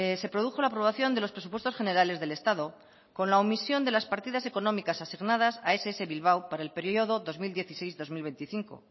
se produjo la aprobación de los presupuestos generales del estado con la omisión de las partidas económicas asignadas a ess bilbao para el periodo dos mil dieciséis dos mil veinticinco